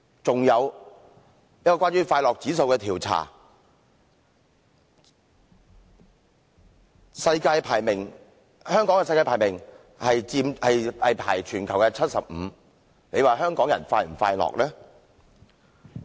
一項有關快樂指數的調查更顯示，香港在全球排名 75， 大家說香港人是否快樂呢？